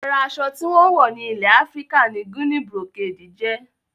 Ara aṣọ tí wón ń wọ̀ ní ilè Afíríkà ni Guinea brocade jẹ́